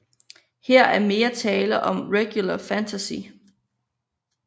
Her er mere tale om regulær fantasy